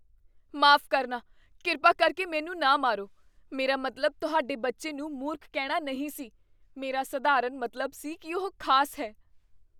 ਮਾਫ਼ ਕਰਨਾ, ਕਿਰਪਾ ਕਰਕੇ ਮੈਨੂੰ ਨਾ ਮਾਰੋ। ਮੇਰਾ ਮਤਲਬ ਤੁਹਾਡੇ ਬੱਚੇ ਨੂੰ ਮੂਰਖ ਕਹਿਣਾ ਨਹੀਂ ਸੀ। ਮੇਰਾ ਸਧਾਰਨ ਮਤਲਬ ਸੀ ਕੀ ਉਹ ਖ਼ਾਸ ਹੈ।